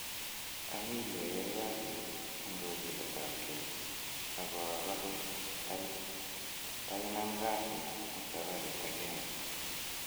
"Ami yu ayai kasiit en kogiletab kei, ago agose ta inam kasit en sabarit agenge